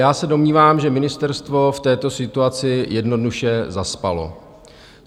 Já se domnívám, že ministerstvo v této situaci jednoduše zaspalo.